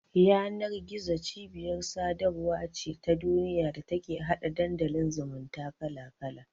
Yanar-gizo cibiyar sadarwa ce ta duniya da take hada Dandalin zumunta kala-kala.